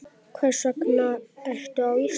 Hvers vegna ertu á Íslandi?